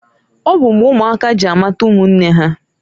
Ọ bụ mgbe ụmụaka ji amata ụmụnne ha.